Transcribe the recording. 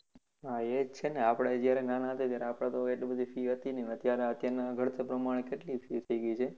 હા એ જ છેને આપણે જયારે નાના હતા ત્યારે આપણે તો કઈ એટલી બધી fees હોતી ની અત્યારના ભણતર પ્રમાણે કેટલી fees થઇ ગઈ છે